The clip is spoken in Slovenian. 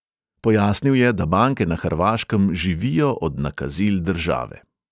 Pojasnil je, da banke na hrvaškem živijo od nakazil države.